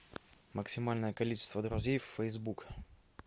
максимальное количество друзей в фейсбук